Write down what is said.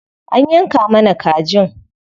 An yanka mana kajin.